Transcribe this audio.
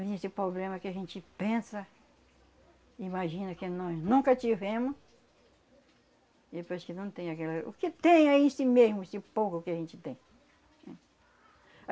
Esse problema que a gente pensa, imagina que nós nunca tivemos e depois que não tem aquela... O que tem é esse mesmo, esse pouco que a gente tem.